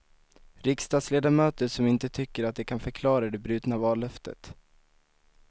Riksdagsledamöter som inte tycker att de kan förklara det brutna vallöftet.